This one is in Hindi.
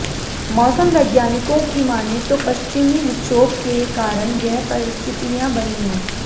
मौसम वैज्ञानिकों की माने तो पश्चिमी विक्षोभ के कारण यह परिस्थितियां बनी है